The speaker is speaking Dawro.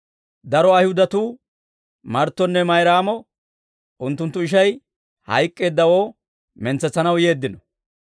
Daro Ayihudatuu Marttonne Mayraamo unttunttu ishay hayk'k'eeddawoo mentsetsanaw yeeddino.